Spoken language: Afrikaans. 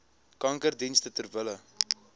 kankerdienste ter wille